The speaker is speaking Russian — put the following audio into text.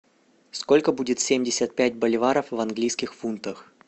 сколько будет семьдесят пять боливаров в английских фунтах